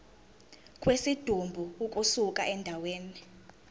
kwesidumbu ukusuka endaweni